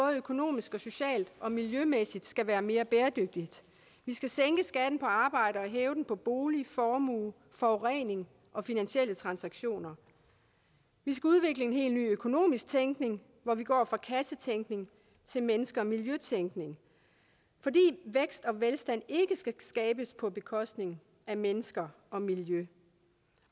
økonomisk socialt og miljømæssigt skal være mere bæredygtigt vi skal sænke skatten på arbejde og hæve den på bolig formue forurening og finansielle transaktioner vi skal udvikle en helt ny økonomisk tænkning hvor vi går fra kassetænkning til menneske og miljøtænkning fordi vækst og velstand ikke skal skabes på bekostning af mennesker og miljø